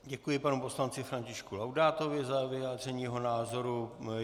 Děkuji panu poslanci Františku Laudátovi za vyjádření jeho názoru.